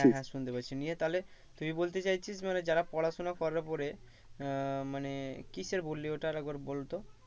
হ্যাঁ হ্যাঁ শুনতে পাচ্ছি নিয়ে তাহলে তুই বলতে চাইছিস মানে যারা পড়াশোনা করার পরে আহ মানে কিসের বললি ওটা আর একবার বলতো